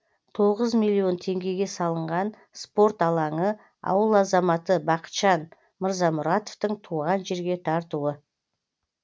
тоғыз миллион теңгеге салынған спорт алаңы ауыл азаматы бақытжан мырзамұратовтың туған жерге тартуы